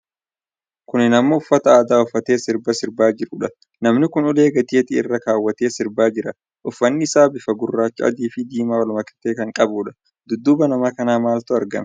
Kuni nama uffata aadaa uuffatee sirba sirbaa jiruudha. Namni kun ulee gateetti irra kaawwatee sirbaa jira. Uffanni isaa bifa gurraacha, adii fi diimaa wal makatee kan qabuudha. Dudduuba nama kanaatti maaltu argama?